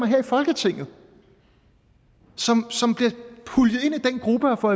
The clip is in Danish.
her i folketinget som bliver puljet ind i den gruppe og får